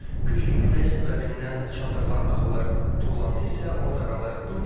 Güclü külək səbəbindən çadırlar dağılır, tullantı isə orada qalır.